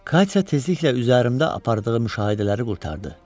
Katya tezliklə üzərimdə apardığı müşahidələri qurtardı.